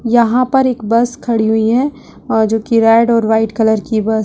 यहाँ पर एक बस खड़ी हुई है और जो की रेड और वाइट कलर की बस --